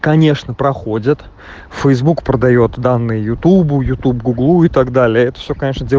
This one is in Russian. конечно проходят фейсбук продаёт данные ютубу ютуб гуглу и так далее это все конечно дел